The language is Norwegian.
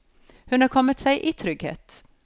Hun er kommet seg i trygghet.